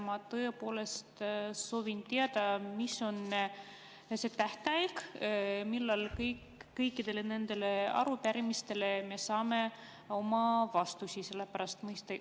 Ma tõepoolest soovin teada, mis on see tähtaeg, millal me kõikidele nendele arupärimistele saame vastused.